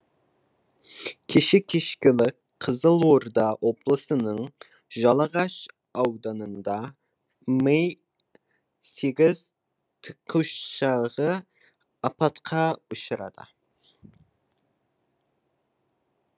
кеше кешкілік қызылорда облысының жалағаш ауданында ми сегіз тікұшағы апатқа ұшырады